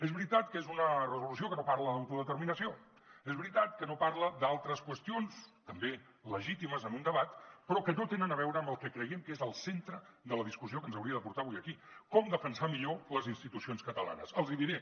és veritat que és una resolució que no parla d’autodeterminació és veritat que no parla d’altres qüestions també legítimes en un debat però que no tenen a veure amb el que creiem que és el centre de la discussió que ens hauria de portar avui aquí com defensar millor les institucions catalanes els hi diré